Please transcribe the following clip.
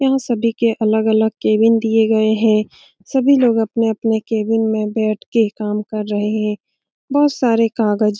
यहाँ सभी के अलग-अलग केबिन दिए गए हैं सभी लोग अपने-अपने केबिन में बैठ के काम कर रहे हैं बहुत सारे कागज --